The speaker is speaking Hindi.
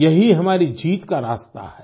यही हमारी जीत का रास्ता है